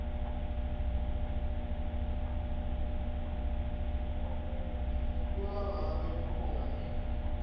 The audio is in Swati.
uma ngabe kukhona